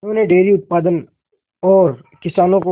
उन्होंने डेयरी उत्पादन और किसानों को